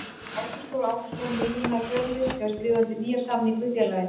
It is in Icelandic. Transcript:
Ágúst Þór Ágústsson miðjumaður Fjölnis hefur skrifað undir nýjan samning við félagið.